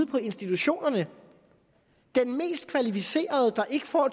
på institutionerne den mest kvalificerede der ikke får